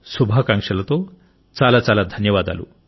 శుభాకాంక్షలతో చాలా చాలా ధన్యవాదాలు